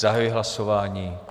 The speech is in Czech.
Zahajuji hlasování.